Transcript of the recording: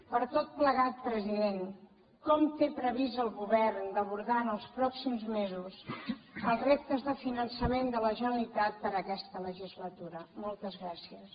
per tot plegat president com té previst el govern d’abordar en els pròxims mesos els reptes de finançament de la generalitat per a aquesta legislatura moltes gràcies